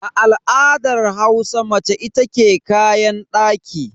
A al'adar Hausa mace ita ke kayan daki.